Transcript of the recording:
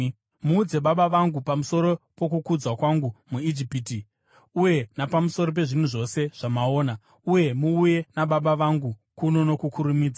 Muudze baba vangu pamusoro pokukudzwa kwangu muIjipiti uye napamusoro pezvinhu zvose zvamaona. Uye muuye nababa vangu kuno nokukurumidza.”